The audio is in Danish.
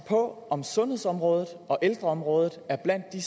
på om sundhedsområdet og ældreområdet er blandt de